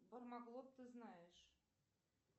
бармаглот ты знаешь